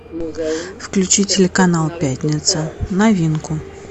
включи телеканал пятница новинку